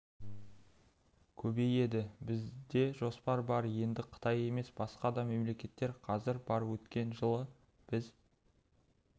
көбейеді бізде жоспар бар енді қытай емес басқа да мемлекеттер қазір бар өткен жылы біз